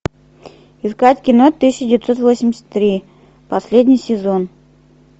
искать кино тысяча девятьсот восемьдесят три последний сезон